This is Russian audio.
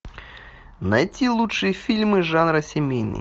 найти лучшие фильмы жанра семейный